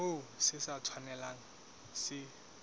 moo se sa tshwanelang se